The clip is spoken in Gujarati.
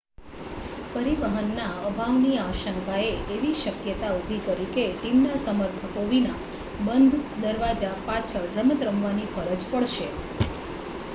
પરિવહનના અભાવની આશંકાએ એવી શક્યતા ઊભી કરી કે ટીમના સમર્થકો વિના બંધ દરવાજા પાછળ રમત રમવાની ફરજ પડશે